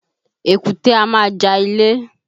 Èkúté a máa ja ilé